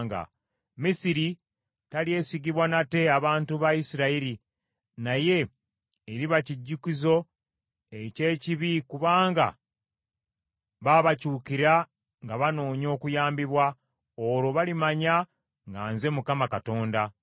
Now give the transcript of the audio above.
Misiri talyesigibwa nate abantu ba Isirayiri, naye eriba kijjukizo eky’ekibi kubanga baabakyukira nga banoonya okuyambibwa. Olwo balimanya nga nze Mukama Katonda.’ ”